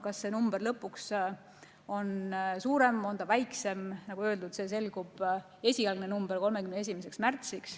Kas see number on suurem või väiksem, see, nagu öeldud, selgub 31. märtsil.